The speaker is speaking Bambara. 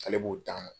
Ale b'o ta